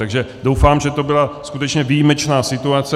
Takže doufám, že to byla skutečně výjimečná situace.